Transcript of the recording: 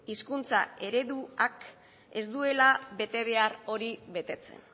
hizkuntza ereduak ez dutela betebehar hori betetzen